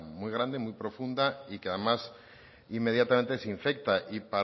muy grande muy profunda y que además inmediatamente se infecta y